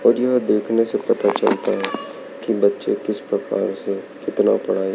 और यह देखने से पता चलता है कि बच्चे किस प्रकार से कितना पढ़ाई--